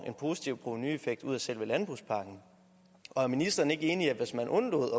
en positiv provenueffekt ud af selve landbrugspakken og er ministeren ikke enig i at hvis man undlod